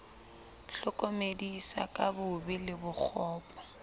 hlokomedisa ka bobe le bokgopo